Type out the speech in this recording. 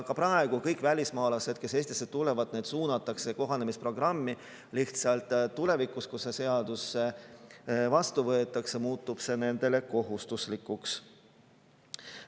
Ka praegu kõik välismaalased, kes Eestisse tulevad, suunatakse kohanemisprogrammi, lihtsalt tulevikus, kui see seadus vastu võetakse, muutub see nendele kohustuslikuks.